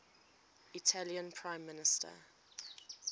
italian prime minister